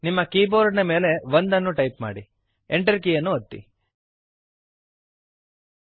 ನಿಮ್ಮ ಕೀಬೋರ್ಡ್ ನ ಮೇಲೆ 1 ಅನ್ನು ಟೈಪ್ ಮಾಡಿ Enter ಕೀಯನ್ನು ಒತ್ತಿರಿ